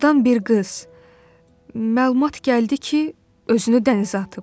Ordan bir qız, məlumat gəldi ki, özünü dənizə atıb.